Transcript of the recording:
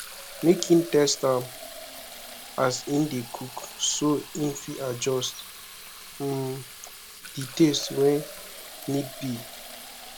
make in taste am as in de cook so in fit adjust um di taste when need be